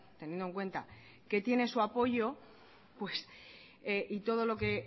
teniendo en cuenta que tiene su apoyo y todo lo que